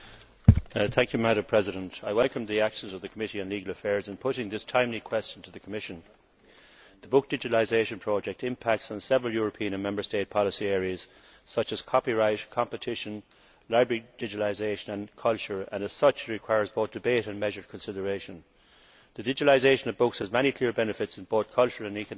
Madam President, I welcome the action of the Committee on Legal Affairs in putting this timely question to the Commission. The book digitalisation project impacts on several European and Member State policy areas, such as copyright, competition, library digitalisation and culture, and as such requires both debate and measured consideration. The digitalisation of books has many clear benefits in both cultural and economic terms.